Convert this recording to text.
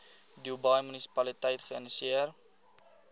dubai munisipaliteit geïnisieer